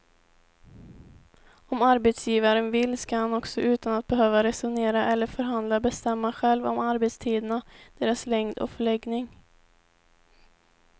Om arbetsgivaren vill ska han också utan att behöva resonera eller förhandla bestämma själv om arbetstiderna, deras längd och förläggning.